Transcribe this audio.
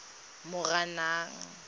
moranang